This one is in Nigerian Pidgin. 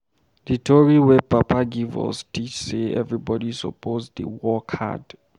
Di tori wey papa give us teach sey everybodi suppose dey work hard.